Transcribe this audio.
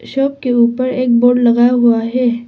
Shop के ऊपर एक बोर्ड लगा हुआ है।